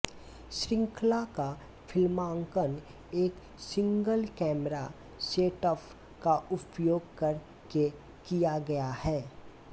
श्रृंखला का फ़िल्मांकन एक सिंगल कैमरा सेटअप का उपयोग कर के किया गया है